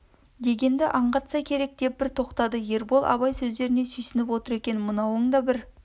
дегенді аңғартса керек деп бір тоқтады ербол абай сөздеріне сүйсініп отыр екен мынауың да бір